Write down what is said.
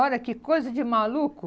Olha que coisa de maluco.